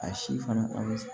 A si fana an bɛ